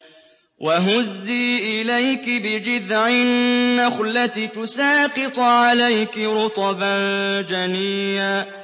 وَهُزِّي إِلَيْكِ بِجِذْعِ النَّخْلَةِ تُسَاقِطْ عَلَيْكِ رُطَبًا جَنِيًّا